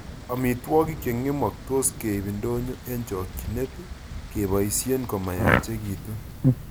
Amitwogik chengemoktos keib ndonyo eng chokchinet keboisie komayachikichitu